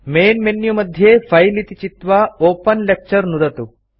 main menu मध्ये file इति चित्वा ओपेन लेक्चर नुदतु